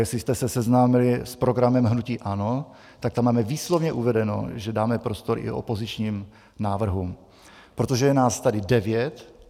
Jestli jste se seznámili s programem hnutí ANO, tak tam máme výslovně uvedeno, že dáme prostor i opozičním návrhům, protože je nás tady devět.